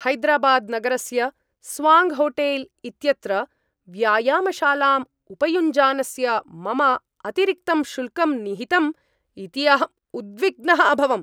हैदराबाद् नगरस्य स्वाङ्क्होटेल् इत्यत्र व्यायामशालाम् उपयुञ्जानस्य मम अतिरिक्तं शुल्कं निहितम् इति अहं उद्विग्नः अभवम्।